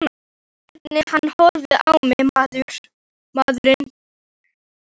Hvernig hann horfði á mig, maðurinn!